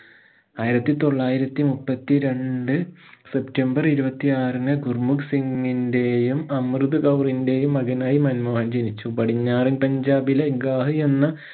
ആയിരത്തി തൊള്ളായിരത്തി മുപ്പത്തിരണ്ട് സെപ്റ്റംബർ ഇരുപത്തി ആറിന് ഗുർമുഖ് സിംഗിന്റെയും അമൃത് കൗറിന്റെയും മകനായി മൻമോഹൻ ജനിച്ചു പടിഞ്ഞാറൻ പഞ്ചാബിലെ ഗാഹി എന്ന